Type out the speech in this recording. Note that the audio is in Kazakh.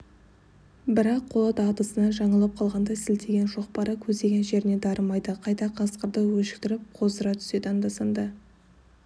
бірақ қолы дағдысынан жаңылып қалғандай сілтеген шоқпары көздеген жеріне дарымайды қайта қасқырды өшіктіріп қоздыра түседі анда-санда